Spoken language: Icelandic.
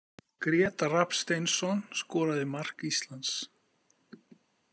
Grétar Rafn Steinsson skoraði mark Íslands.